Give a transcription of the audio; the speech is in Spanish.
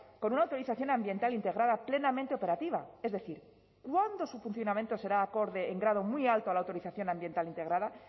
con una autorización ambiental integrada plenamente operativa es decir cuándo su funcionamiento será acorde en grado muy alto a la autorización ambiental integrada